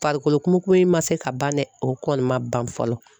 Farikolo kumu kumu ma se ka ban dɛ, o kɔni ma ban fɔlɔ .